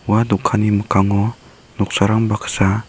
ua dokanni mikkango noksarang baksa--